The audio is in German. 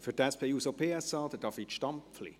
Für die SP-JUSO-PSA, David Stampfli.